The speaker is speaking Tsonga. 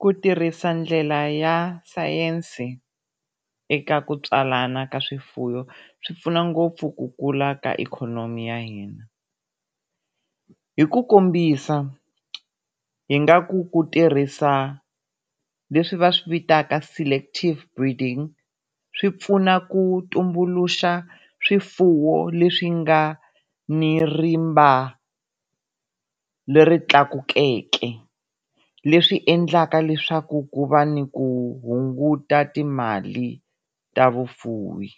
Ku tirhisa ndlela ya sayense eka ku tswalana ka swifuwo swi pfuna ngopfu ku kula ka ikhonomi ya hina. Hi ku kombisa hi nga ku ku tirhisa leswi va swivitanaka selective breeding swi pfuna ku tumbuluxa swifuwo leswi nga ni rimba leri tlakukeke leswi endlaka leswaku ku va ni ku hunguta timali ta vufuwi.